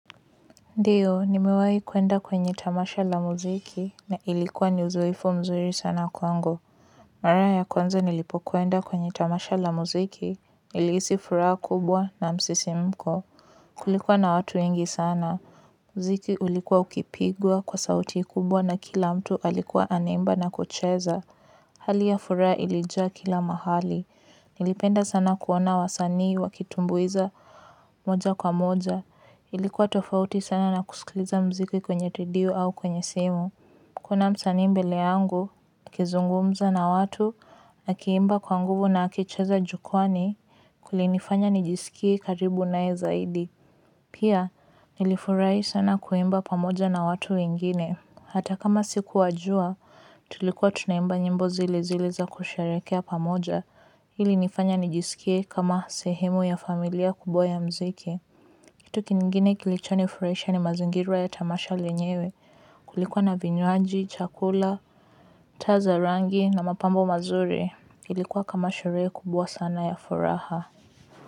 Ndio, nimewahi kwenda kwenye tamasha la muziki na ilikuwa ni uzoefu mzuri sana kwangu. Mara ya kwanza nilipokwenda kwenye tamasha la muziki, nilihisi furaha kubwa na msisimko. Kulikuwa na watu wengi sana. Mziki ulikuwa ukipigwa kwa sauti kubwa na kila mtu alikuwa anaimba na kucheza. Hali ya furaha ilijaa kila mahali. Nilipenda sana kuona wasanii wakitumbuiza moja kwa moja. Ilikuwa tofauti sana na kusikiliza mziki kwenye redio au kwenye simu. Kuna msanii mbele yangu, akizungumza na watu akiimba kwa nguvu na akicheza jukwani kulinifanya nijisikie karibu naye zaidi. Pia, nilifurahi sana kuimba pamoja na watu wengine. Hata kama sikuwajua, tulikuwa tunaimba nyimbo zile zile za kusherekea pamoja ili nifanye nijisikie kama sehemu ya familia kubwa ya mziki. Kitu kingine kilichonifurahisha ni mazingira ya tamasha yenyewe kulikuwa na vinywaji, chakula, taa za rangi na mapambo mazuri. Kilikuwa kama sherehe kubwa sana ya furaha.